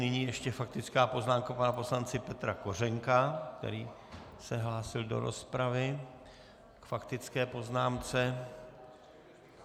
Nyní ještě faktická poznámka pana poslance Petra Kořenka, který se hlásil do rozpravy k faktické poznámce.